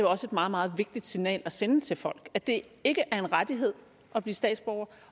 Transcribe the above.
også et meget meget vigtigt signal at sende til folk at det ikke er en rettighed at blive statsborger